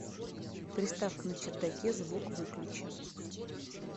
приставка на чердаке звук выключи